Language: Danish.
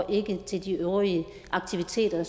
ikke til de øvrige aktiviteter